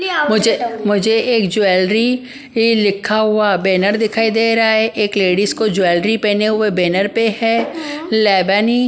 मुझे मुझे एक ज्वेलरी ये लिखा हुआ बैनर दिखाई दे रहा है एक लेडीज को ज्वेलरी पहने हुए बैनर पे है लेवेनी-- -